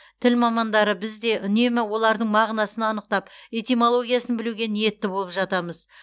тіл мамандары біз де үнемі олардың мағынасын анықтап этимологиясын білуге ниетті боп жатамыз